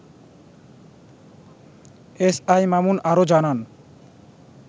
S I Mamun আরো জানান